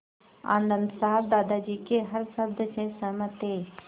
आनन्द साहब दादाजी के हर शब्द से सहमत थे